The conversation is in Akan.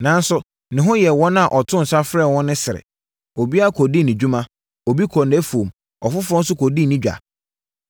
“Nanso, ne ho yɛɛ wɔn a ɔtoo nsa frɛɛ wɔn no sere. Obiara kɔdii ne dwuma. Obi kɔɔ nʼafuom. Ɔfoforɔ nso kɔdii ne dwa.